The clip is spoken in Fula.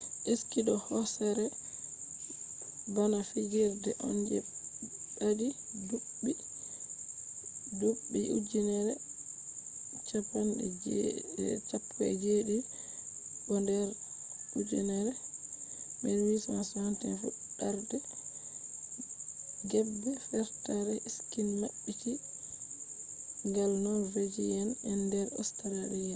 ski do hoosere bana fijirde on je ɓadi ɗuɓɓi ujeneji 17 bo nder 1861 fuɗɗarde geeɓe fertare ski maɓɓiti gal norvejiya'en nder australia